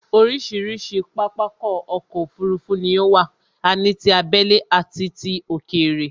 Orísirísi pápákọ̀ ọ̀kọ òfurufú ni ó wà, a ní tí abẹ́lé àti ti òkèrè